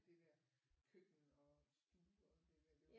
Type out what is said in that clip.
Det der køkken og stue og det der det var